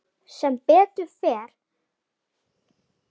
Sem betur fór líktist sonur minn mér ekki.